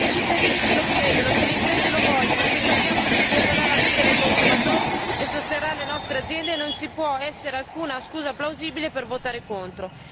Se i cittadini ce lo chiedono, se le imprese lo vogliono, se sappiamo che migliorerà la vita dei consumatori e sosterrà le nostre aziende, non ci può essere alcuna scusa plausibile per votare contro.